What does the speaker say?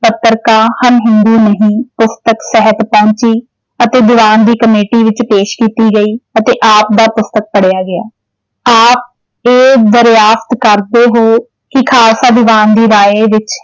ਪੱਤਰਿਕਾ ਹਮ ਹਿੰਦੂ ਨਹੀਂ ਪੁਸਤਕ ਸਾਹਿਤ ਅਤੇ ਦੀਵਾਨ ਦੀ ਕਮੇਟੀ ਵਿੱਚ ਪੇਸ਼ ਕੀਤੀ ਗਈ ਅਤੇ ਆਪ ਦਾ ਪੁਸਤਕ ਪੜਿਆ ਗਿਆ ਆਪ ਇਹ ਕਰਦੇ ਹੋ ਕਿ ਖਾਲਸਾ ਦੀਵਾਨ ਦੀ ਰਾਇ ਵਿੱਚ